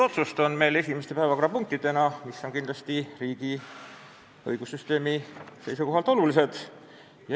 Meil on täna esimeste päevakorrapunktidena kavas kaks omavahel seotud otsust, mis on riigi õigussüsteemi seisukohalt olulised.